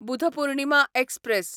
Buddha Purnima express